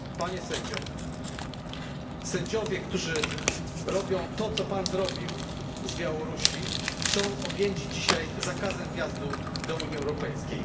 Panie Sędzio, Sędziowie, którzy robią to, co Pan zrobił z Białorusi, są objęci dzisiaj zakazem wjazdu do Unii Europejskiej.